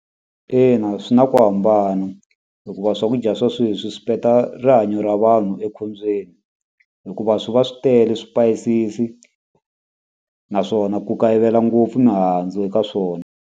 Ina swi na ku hambana hikuva swakudya swa sweswi swi peta rihanyo ra vanhu ekhombyeni hikuva swi va swi tele swipayisisi naswona ku kayivela ngopfu mihandzu eka swona.